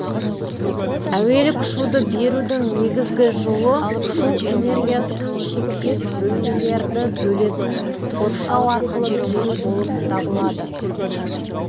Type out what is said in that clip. әуелік шуды берудің негізгі жолы шу энергиясын шектес бөлмелерді бөлетін қоршау арқылы беру болып табылады